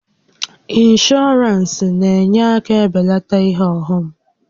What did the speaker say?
Ịnshọọransị na-enye aka e belata ihe ọghọm